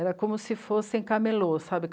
Era como se fossem camelô, sabe?